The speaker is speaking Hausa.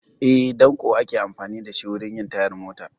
Eh, ɗanko ake amfani da shi wurin yin tayar mota